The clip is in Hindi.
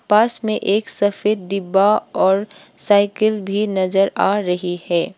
पास में एक सफेद डिब्बा और साइकिल भी नजर आ रही है।